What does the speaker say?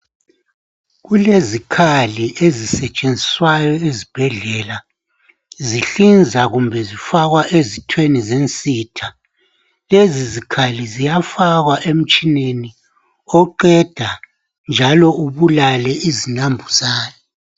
Kulezikhali ezisentshenziswayo ezibhedlela zihlinza kumbe zifakwa ezithweni zensitha lezi izikhali ziyafakwa emtshineni oqenda njalo ubulale izinambuzane